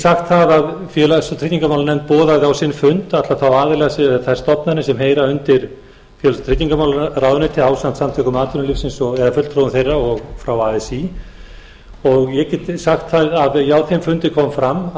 sagt það að félags og tryggingamálanefnd boðaði á sinn fund alla þá aðila eða þær stofnanir sem heyra undir félags og tryggingamálaráðuneytið ásamt samtökum atvinnulífsins eða fulltrúum þeirra og frá así og ég get sagt það að á þeim fundi kom fram